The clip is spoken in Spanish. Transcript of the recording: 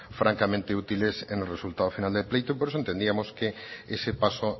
francamente útiles en el resultado final del pleito por eso entendíamos que ese paso